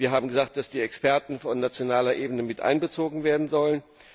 wir haben gesagt, dass die Experten auf nationaler Ebene mit einbezogen werden sollen.